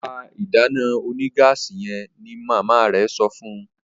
Pá ìdáná onígáàsì yen! ní mama rẹ sọfún.